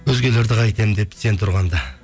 өзгелерді қайтемін деп сен тұрғанда